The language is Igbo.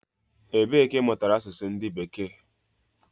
Ebe ka imutara asusu ndu beeke?